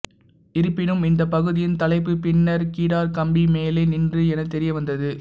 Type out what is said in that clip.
இருப்பினும் இந்த பகுதியின் தலைப்பு பின்னர் கிடார் கம்பி மெலே நின்று என தெரியவந்தது